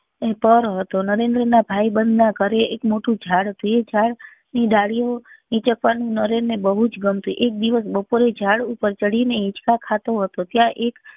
પર હતો નરેન નાં ભાઈબંધ નાં ઘરે એક મોટું ઝાડ હતું એ ઝાડ ની દાલીયો નીચે પણ નરેન ને બહુ જ બનતું એક દિવસ બપોરે ઝાડ ઉપર ચડી ને હીંચકા ખાતો હતો ત્યાં એક